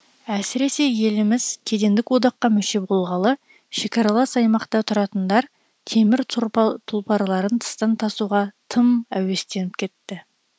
әсіресе еліміз кедендік одаққа мүше болғалы шекаралас аймақта тұратындар темір тұлпарларын тыстан тасуға тым әуестеніп кетті